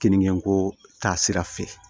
Kiniko taasira fɛ